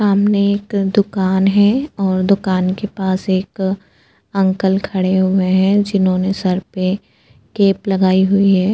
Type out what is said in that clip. सामने एक दुकान है और दुकान के पास एक अंकल खड़े हुए हैं जिन्होंने सर पे केप लगाई हुई है।